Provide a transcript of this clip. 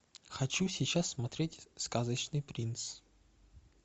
хочу сейчас смотреть сказочный принц